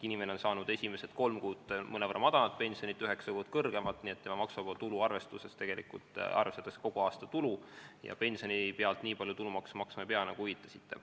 Inimene on saanud esimesed kolm kuud mõnevõrra madalamat pensioni, üheksa kuud saab kõrgemat, tema maksuvaba tulu arvestuses arvestatakse kogu aasta tulu ja pensioni pealt nii palju tulumaksu maksma ei pea, nagu te viitasite.